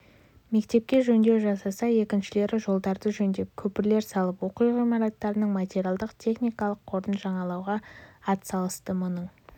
мектепке жөндеу жасаса екіншілері жолдарды жөндеп көпірлер салып оқу ғимараттарының материалдық-техникалық қорын жаңалауға атсалысты мұның